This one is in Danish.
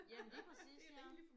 Jamen lige præcis ja